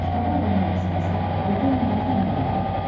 Kitaba olan həvəsimi isə Lutonin qətiyyən bəyənmirdi.